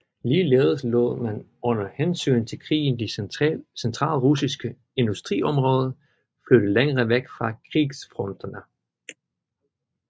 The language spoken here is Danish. Ligeledes lod man under hensyn til krigen de centralrussiske industriområder flytte længere væk fra krigsfronterne